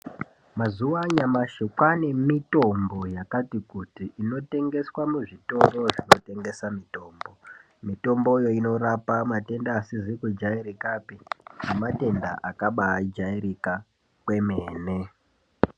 Mazuva anyamashi kwane mitombo inotengeswa muzvitoro zvinotengesa mitombo mitomboyo inorapa matenda asizi kujairikapi nematenda akabajairika kwemene.